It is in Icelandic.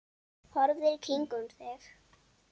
Horfðu í kringum þig!